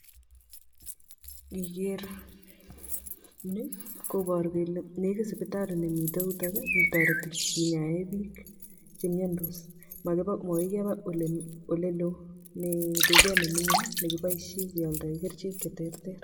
Ngiker ni koboru kele negit sipitali nemite yutok netoreti kinyae bik chemiandos makoikeba olelo mii duket nemingin nekiboisie keoldoe kerchek cheterter.